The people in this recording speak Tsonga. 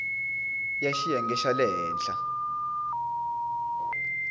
ya xiyenge xa le henhla